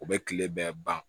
U bɛ kile bɛɛ ban